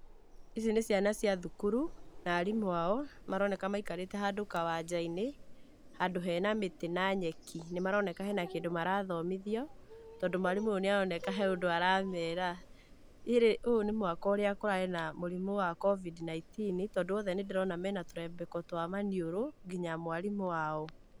Ici nĩ ciana cia thukuru na arimũ ao maroneka maikarĩte handũ kawanja-inĩ handũ he na mĩtĩ na nyeki, nĩmaroneka he na kĩndu marathomithio tondũ mwarimũ ũyũ nĩaroneka he ũndu aramera. Ũyũ nĩ mwaka ũrĩa kũraarĩ na mũrimũ wa COVID-nineteen tondũ othe nĩndĩrona me na tũrembeko twa maniũrũ nginya mwarimũ wao.